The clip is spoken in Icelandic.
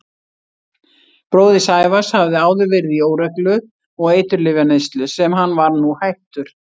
Bróðir Sævars hafði áður verið í óreglu og eiturlyfjaneyslu sem hann var nú hættur.